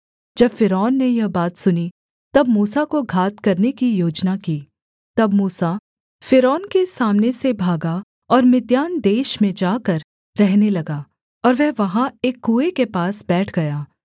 जब फ़िरौन ने यह बात सुनी तब मूसा को घात करने की योजना की तब मूसा फ़िरौन के सामने से भागा और मिद्यान देश में जाकर रहने लगा और वह वहाँ एक कुएँ के पास बैठ गया